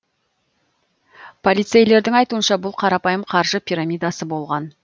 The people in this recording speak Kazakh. полицейлердің айтуынша бұл қарапайым қаржы пирамидасы болған